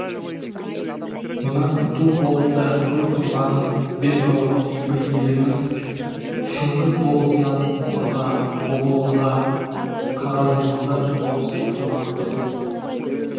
мына күнту қолында мөр тұрғанын бел қылып кейбір еліміз шыңғыс болысынан мұқырға бұғылыға қағазымызды ауыстырмақпыз